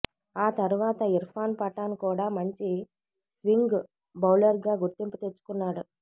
ఆ తర్వాత ఇర్ఫాన్ పఠాన్ కూడా మంచి స్వింగ్ బౌలర్గా గుర్తింపు తెచ్చుకున్నాడు